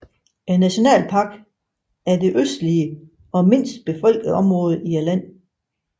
Nationalparken er det østligste og mindst befolkede område i landet